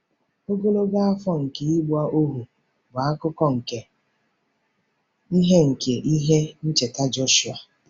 Ogologo afọ nke ịgba ohu bụ akụkụ nke ihe nke ihe ncheta Jọshụa.